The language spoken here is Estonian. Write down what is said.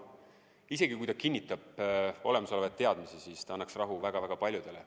Isegi kui ta kinnitab olemasolevaid teadmisi, siis ta annaks rahu väga-väga paljudele.